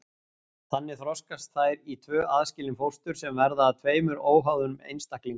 Þannig þroskast þær í tvö aðskilin fóstur sem verða að tveimur óháðum einstaklingum.